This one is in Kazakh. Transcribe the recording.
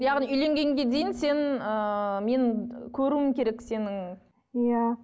яғни үйленгенге дейін сен ыыы мен көруім керек сенің иә